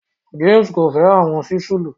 James ko fẹ awọn sísúlù